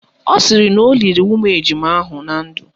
Ọ sịrị na o liri ụmụ ejima ahụ na ndụ